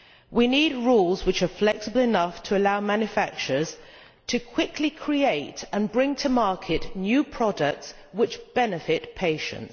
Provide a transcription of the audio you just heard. We need rules which are flexible enough to allow manufacturers to quickly create and bring to market new products which benefit patients.